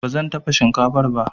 Ba zan dafa shinkafar ba.